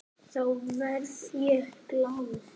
Þá verð ég glaður.